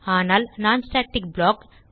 ஆனால் non static block